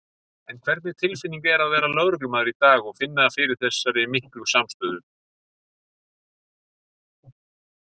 En hvernig tilfinning er að vera lögreglumaður í dag og finna fyrir þessari miklu samstöðu?